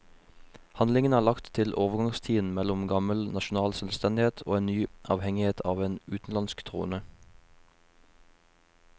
Handlingen er lagt til overgangstiden mellom gammel nasjonal selvstendighet og en ny avhengighet av en utenlandsk trone.